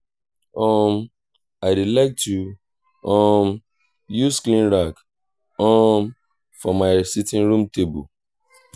um i dey like to um use clean rag um for my sitting room table